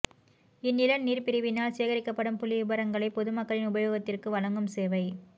இந்நில நீர்ப் பிரிவினால் சேகரிக்கப்படும் புள்ளி விபரங்களைப் பொதுமக்களின் உபயோகத்திற்கு வழங்கும் சேவை